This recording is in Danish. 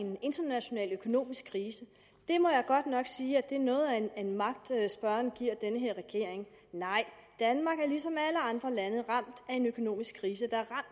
en international økonomisk krise det må jeg godt nok sige er noget af en magt spørgeren giver den her regering nej danmark er ligesom alle andre lande ramt af en økonomisk krise der